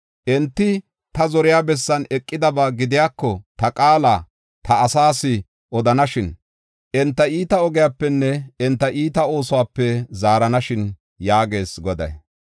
Enti ta zoriya bessan eqidabaa gidiyako, ta qaala, ta asaas odanashin. Enti iita ogiyapenne enta iita oosuwape zaaranashin” yaagees Goday.